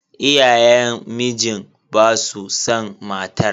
Iyayen mijin basu san matar.